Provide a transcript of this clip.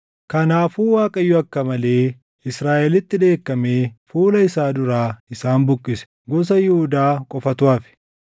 Kanaafuu Waaqayyo akka malee Israaʼelitti dheekkamee fuula isaa duraa isaan buqqise. Gosa Yihuudaa qofatu hafe;